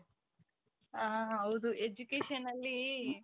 ಹ ಹೌದು education ಅಲ್ಲಿ .